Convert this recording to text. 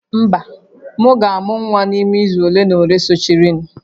Mba, m ga-amụ nwa n'ime izu ole na ole sochirinụ